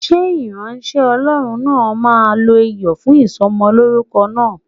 Ṣé ìránṣẹ́ Ọlọ́run náà máa lo Iyọ̀ fún Ìsọmọlórúkọ náà?